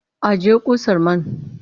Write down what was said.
Ajiye ƙusar man!